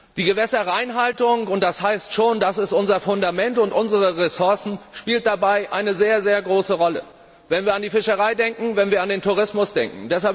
Die Gewässerreinhaltung denn es geht um unser Fundament und unsere Ressourcen spielt dabei eine sehr, sehr große Rolle, wenn wir an die Fischerei denken, wenn wir an den Tourismus denken.